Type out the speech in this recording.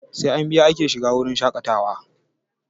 Sai an biya ake shiga wurin shaƙatawa